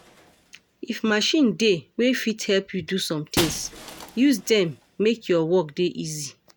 If machine dey wey fit help you do some things, use dem make your work dey easy